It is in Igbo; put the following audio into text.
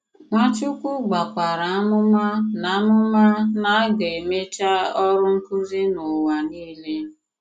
Nwàchùkwù gbàkwàrà àmùmà na àmùmà na a ga-emechà òrụ nkụ̀zì n'ụwa niile.